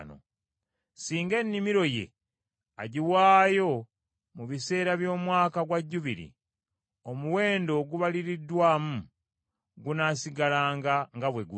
Singa ennimiro ye, agiwaayo mu biseera by’Omwaka gwa Jjubiri, omuwendo ogubaliriddwa gunaasigalanga nga bwe guli.